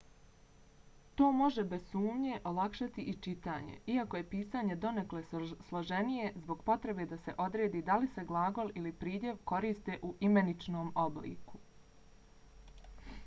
to može bez sumnje olakšati i čitanje iako je pisanje donekle složenije zbog potrebe da se odredi da li se glagol ili pridjev koriste u imeničnom obliku